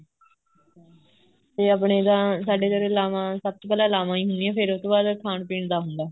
ਆਪਣੇ ਤਾਂ ਸਾਡੇ ਲਾਵਾਂ ਸਭ ਤੋਂ ਪਹਿਲਾਂ ਲਾਵਾਂ ਹੀ ਹੁੰਦੀਆਂ ਉਹਤੋਂ ਬਾਅਦ ਖਾਣ ਪੀਣ ਦਾ ਹੁੰਦਾ